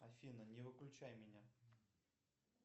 афина не выключай меня